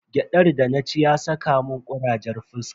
Gyadar da na ci ya saka mun kurajen fuska.